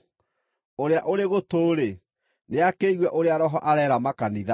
Ũrĩa ũrĩ gũtũ-rĩ, nĩakĩigue ũrĩa Roho areera makanitha.